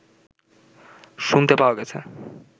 শুনতে পাওয়া গেছে